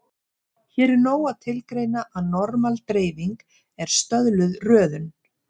Hér er nóg að tilgreina að normal-dreifing er stöðluð röðun.